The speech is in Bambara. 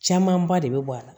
Camanba de bɛ bɔ a la